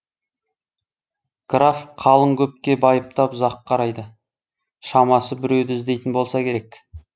граф қалың көпке байыптап ұзақ қарайды шамасы біреуді іздейтін болса керек